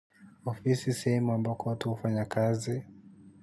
Ofisi sehemu ambako watu hufanya kazi.